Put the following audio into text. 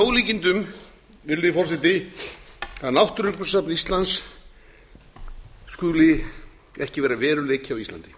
ólíkindum virðulegi forseti að náttúrugripasafn íslands skuli ekki vera veruleiki á íslandi